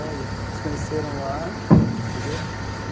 se conheceram lá, entendeu?